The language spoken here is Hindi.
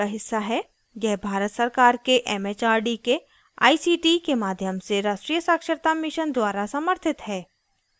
यह भारत सरकार के it it आर डी के आई सी टी के माध्यम से राष्ट्रीय साक्षरता mission द्वारा समर्थित है